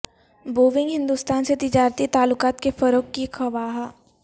Boeing Hindustan سے تجارتی تعلقات کے فروغ کی خواہاں